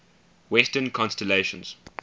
western constellations